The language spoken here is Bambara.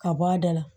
Ka bɔ a da la